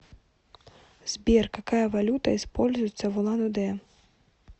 сбер какая валюта используется в улан удэ